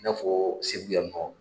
I n'a fɔɔ Segu yan nɔ